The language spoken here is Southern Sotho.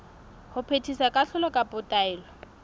ho phethisa kahlolo kapa taelo